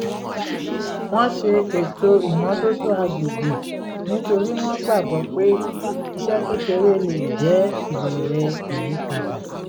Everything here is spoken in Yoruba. wọ́n ṣe ètò ìmọ́tótó agbègbè nítorí wọ́n gbàgbọ́ pé iṣẹ́ kékeré lè jẹ́ ìbẹ̀rẹ̀ ìyípadà